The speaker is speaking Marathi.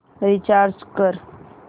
रीचार्ज कर